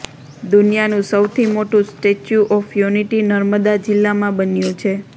દુનિયાનું સૌથી મોટું સ્ટેચ્યુ ઓફ યુનિટી નર્મદા જિલ્લામાં બન્યુ છે